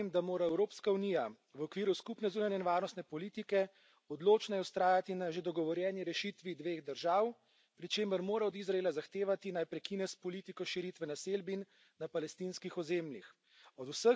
Sam menim, da mora Evropska unija v okviru skupne zunanje in varnostne politike odločneje vztrajati na že dogovorjeni rešitvi dveh držav, pri čemer mora od Izraela zahtevati, naj prekine s politiko širitve naselbin na palestinskih ozemljih.